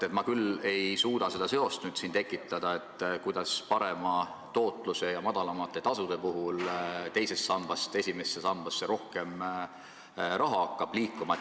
Samas, ma ei suuda leida seda seost, kuidas parema tootluse ja madalamate tasude puhul hakkab teisest sambast esimesse sambasse rohkem raha liikuma.